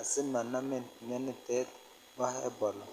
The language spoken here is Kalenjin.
asimanamin mionitet bo ebola.